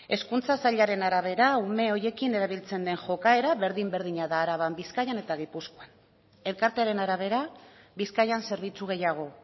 hezkuntza sailaren arabera ume horiekin erabiltzen den jokaera berdin berdina da araban bizkaian eta gipuzkoan elkartearen arabera bizkaian zerbitzu gehiago